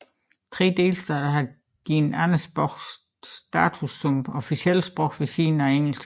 Tre delstater har givet andre sprog status som officielle sprog ved siden af engelsk